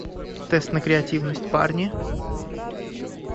тест на креативность парни